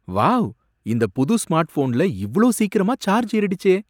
Wow, இந்த புது smart ஃபோன்ல இவ்ளோ சீக்கிரமா சார்ஜ் ஏறிடுச்சே!